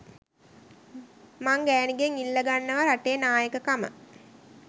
මං ගෑනිගෙන් ඉල්ල ගන්නවා රටේ නායකකම.